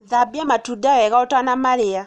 Thambia matunda wega ũtanamarĩa